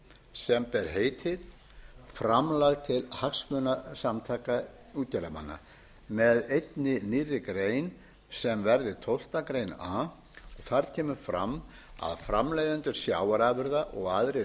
sem ber heitið framlag til hagsmunasamtaka útgerðarmanna með einni nýrri grein sem verði tólftu greinar a þar kemur fram að framleiðendur sjávarafurða og aðrir